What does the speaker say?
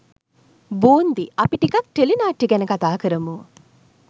බූන්දි අපි ටිකක් ටෙලි නාට්‍ය ගැන කතා කරමු.